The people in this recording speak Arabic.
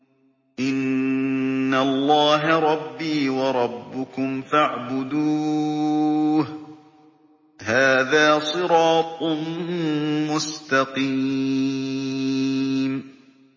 إِنَّ اللَّهَ رَبِّي وَرَبُّكُمْ فَاعْبُدُوهُ ۗ هَٰذَا صِرَاطٌ مُّسْتَقِيمٌ